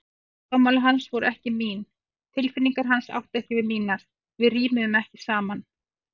Áhugamál hans voru ekki mín, tilfinningar hans áttu ekki við mínar, við rímuðum ekki saman.